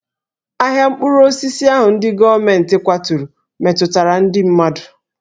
Ahịa mkpụrụ osisi ahụ ndị gọọmentị kwaturu metụtara ndị mmadụ